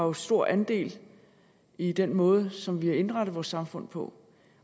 har stor andel i den måde som vi har indrettet vores samfund på